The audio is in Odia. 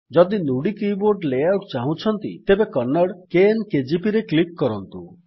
ଯଦି ନୁଡି କୀବୋର୍ଡ ଲେଆଉଟ୍ ଚାହୁଁଛନ୍ତି ତେବେ କନ୍ନଡ଼ କେଏନ୍ କେଜିପି ରେ କ୍ଲିକ୍ କରନ୍ତୁ